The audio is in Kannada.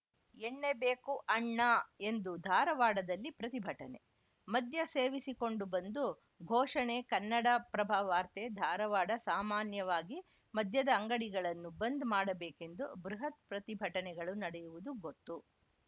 ಎಣ್ಣೆ ಬೇಕು ಅಣ್ಣಾ ಎಂದು ಧಾರವಾಡದಲ್ಲಿ ಪ್ರತಿಭಟನೆ ಮದ್ಯ ಸೇವಿಸಿಕೊಂಡು ಬಂದು ಘೋಷಣೆ ಕನ್ನಡಪ್ರಭ ವಾರ್ತೆ ಧಾರವಾಡ ಸಾಮಾನ್ಯವಾಗಿ ಮದ್ಯದ ಅಂಗಡಿಗಳನ್ನು ಬಂದ್‌ ಮಾಡಬೇಕೆಂದು ಬೃಹತ್‌ ಪ್ರತಿಭಟನೆಗಳು ನಡೆಯುವುದು ಗೊತ್ತು